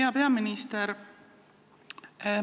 Hea peaminister!